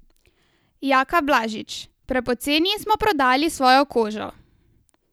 Jaka Blažič: "Prepoceni smo prodali svojo kožo.